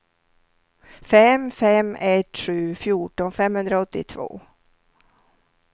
fem fem ett sju fjorton femhundraåttiotvå